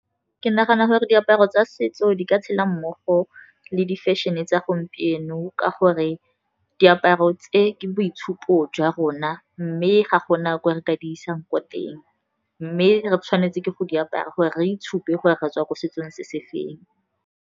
Ke nagana gore diaparo tsa setso di ka tshela mmogo le di-fashion-e tsa gompieno, ka gore diaparo tse ke boitshupo jwa rona, mme ga gona gore re ka di isang ko teng, mme re tshwanetse ke go diaparo gore re itshupa gore re tswa ko setsong se se feng.